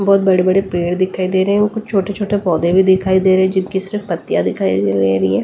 बहुत बड़े-बड़े पैड दिखाई दे रहे हैं और कुछ छोटे-छोटे पौधे भी दिखाई दे रहे हैं जिनकी सिर्फ पत्तियां दिखाई दे रही है।